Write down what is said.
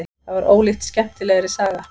Það var ólíkt skemmtilegri saga.